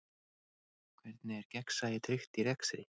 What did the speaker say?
Hvernig er gegnsæi tryggt í rekstri?